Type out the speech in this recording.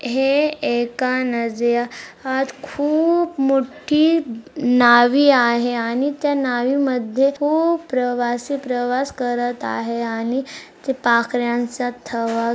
हे एका नजि या खूप मोठी नावी आहे आणि त्या नावीमध्ये खूप प्रवासी-प्रवास करत आहे आणि पाखऱ्यांचा थवा--